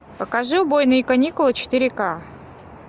покажи убойные каникулы четыре ка